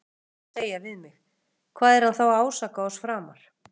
Þú munt nú vilja segja við mig: Hvað er hann þá að ásaka oss framar?